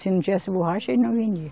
Se não tivesse borracha, ele não vendia.